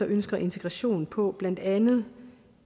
ønsker integration på blandt andet ved